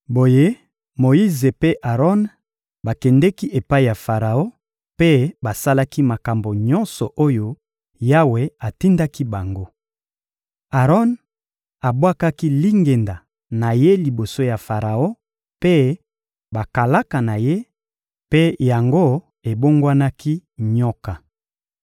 Boye Moyize mpe Aron bakendeki epai ya Faraon mpe basalaki makambo nyonso oyo Yawe atindaki bango. Aron abwakaki lingenda na ye liboso ya Faraon mpe bakalaka na ye, mpe yango ebongwanaki nyoka.